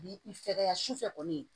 Bi i fɛkɛya su fɛ kɔni